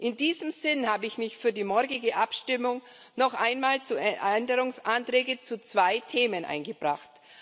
In diesem Sinne habe ich für die morgige Abstimmung noch einmal Änderungsanträge zu zwei Themen eingebracht.